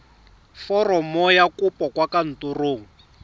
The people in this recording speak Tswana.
foromo ya kopo kwa kantorong